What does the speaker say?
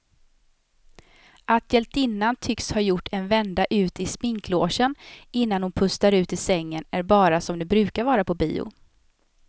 Att hjältinnan tycks ha gjort en vända ut i sminklogen innan hon pustar ut i sängen är bara som det brukar vara på bio.